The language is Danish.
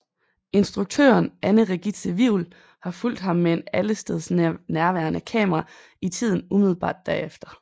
Instruktøren Anne Regitze Wivel har fulgt ham med et allestedsnærværende kamera i tiden umiddelbart derefter